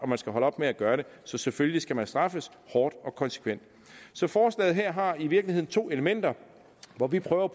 man skal holde op med at gøre det så selvfølgelig skal man straffes hårdt og konsekvent så forslaget her har i virkeligheden to elementer hvor vi prøver